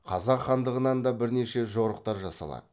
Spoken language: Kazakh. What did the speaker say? қазақ хандығынан да бірнеше жорықтар жасалады